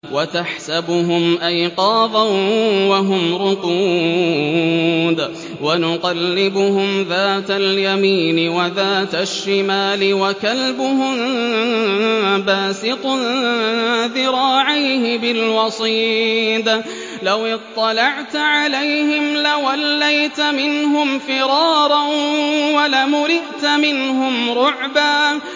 وَتَحْسَبُهُمْ أَيْقَاظًا وَهُمْ رُقُودٌ ۚ وَنُقَلِّبُهُمْ ذَاتَ الْيَمِينِ وَذَاتَ الشِّمَالِ ۖ وَكَلْبُهُم بَاسِطٌ ذِرَاعَيْهِ بِالْوَصِيدِ ۚ لَوِ اطَّلَعْتَ عَلَيْهِمْ لَوَلَّيْتَ مِنْهُمْ فِرَارًا وَلَمُلِئْتَ مِنْهُمْ رُعْبًا